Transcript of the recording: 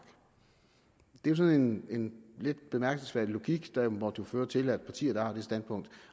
det er sådan en lidt bemærkelsesværdig logik der jo må føre til at partier der har det standpunkt